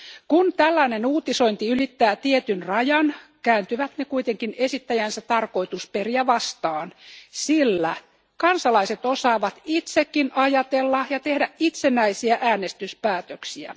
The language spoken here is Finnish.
Kun tällainen uutisointi ylittää tietyn rajan, kääntyvät ne kuitenkin esittäjänsä tarkoitusperiä vastaan, sillä kansalaiset osaavat itsekin ajatella ja tehdä itsenäisiä äänestyspäätöksiä.